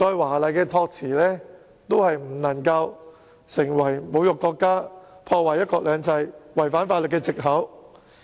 無論議員的託辭怎樣華麗，也不能成為侮辱國家、破壞"一國兩制"及違反法律的藉口。